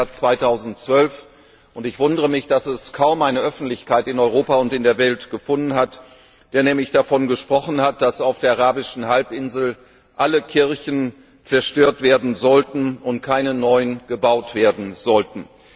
12. März 2012 gesagt hat und ich wundere mich, dass es kaum eine öffentliche Reaktion in Europa und in der Welt gefunden hat der nämlich davon gesprochen hat, dass auf der arabischen Halbinsel alle Kirchen zerstört und keine neuen gebaut werden sollten.